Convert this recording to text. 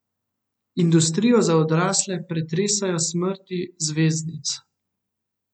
Industrijo za odrasle pretresajo smrti zvezdnic.